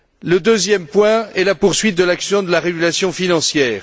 Le deuxième point est la poursuite de l'action de la régulation financière.